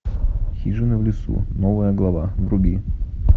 хижина в лесу новая глава вруби